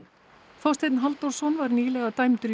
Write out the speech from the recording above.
Þorsteinn Halldórsson var nýlega dæmdur í